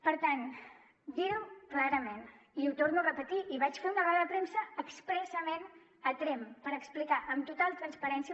per tant dir clarament i ho torno a repetir i vaig fer una roda de premsa expressament a tremp per explicar amb total transparència